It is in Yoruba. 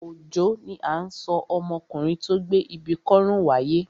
Òjó ni à ń sọ ọmọkùnrin tó gbé ibi kọ́rùn wáyé.